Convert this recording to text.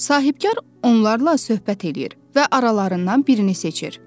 Sahibkar onlarla söhbət eləyir və aralarından birini seçir.